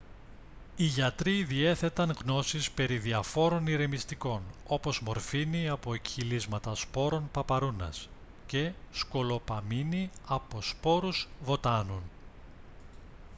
οι γιατροί διέθεταν γνώσεις περί διαφόρων ηρεμιστικών όπως μορφίνη από εκχυλίσματα σπόρων παπαρούνας και σκολοπαμίνη από σπόρους βοτάνων